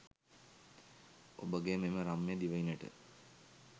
ඔබගේ මෙම රම්‍ය දිවයිනට